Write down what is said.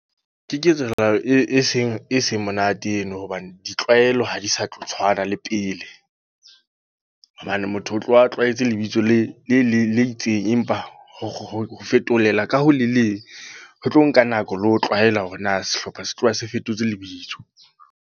Ke ketsahalo e seng monate eno. Hobane ditlwaelo ha di sa tlo tshwana le pele. Hobane motho o tlo wa a tlwaetse lebitso le le itseng. Empa ho fetolela ka ho le leng, ho tlo nka nako le ho tlwaela hore na sehlopha se tloha se fetotse lebitso.